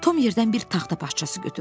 Tom yerdən bir taxta parçası götürdü.